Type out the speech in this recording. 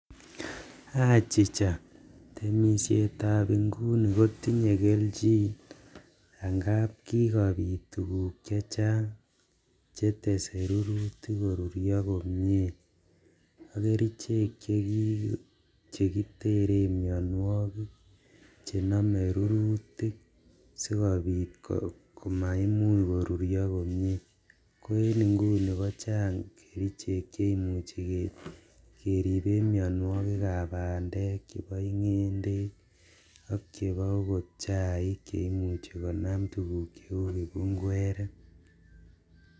Achicha, temishet ab inguni kotinyee keljin amuun kibobit tukuk chechang jetese rurutik koriryoo komie ,ak kerechek chekiteren mionwokik chenomee rurutik sikopit komaimuch koruryoo komie koen inguni kichang kerechek cheimuchi keriben mionywokik ab pandek, chebo ngendek ak chebo chaik cheimuchi konam tukuk cheu kipukweret.